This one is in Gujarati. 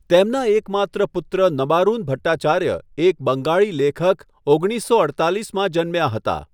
તેમના એકમાત્ર પુત્ર નબારુન ભટ્ટાચાર્ય, એક બંગાળી લેખક, ઓગણીસો અડતાલીસમાં જન્મ્યા હતા.